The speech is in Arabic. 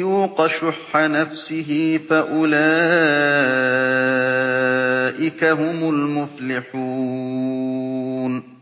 يُوقَ شُحَّ نَفْسِهِ فَأُولَٰئِكَ هُمُ الْمُفْلِحُونَ